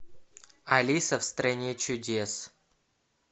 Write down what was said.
алиса в стране чудес